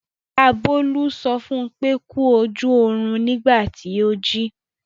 Ìyá Bólú sọ fún pé "kú ojú ọrùn " nígbà tí ó jí.